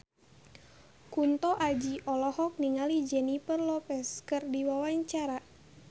Kunto Aji olohok ningali Jennifer Lopez keur diwawancara